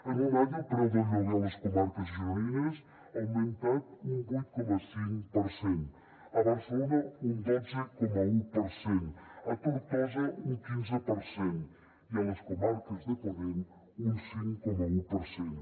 en un any el preu del lloguer a les comarques gironines ha augmentat un vuit coma cinc per cent a barcelona un dotze coma un per cent a tortosa un quinze per cent i a les comarques de ponent un cinc coma un per cent